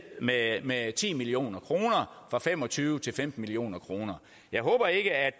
med med ti million kroner fra fem og tyve til femten million kroner jeg håber ikke at